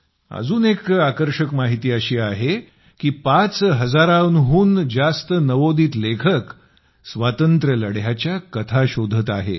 एक अजून आकर्षक माहिती अशी आहे की 5000 हून जास्त नवोदित लेखक स्वातंत्र्य लढ्याच्या कथा शोधत आहेत